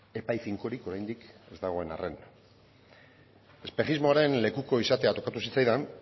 epai finkorik oraindik ez dagoen arren espejismoaren lekuko izatea tokatu zitzaidan